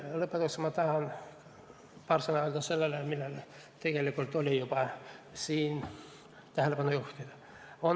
Lõpetuseks tahan öelda paar sõna selle kohta, millele tegelikult siin on juba tähelepanu juhitud.